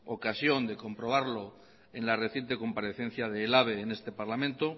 ocasión de comprobarlo en la reciente comparecencia del ehlabe en este parlamento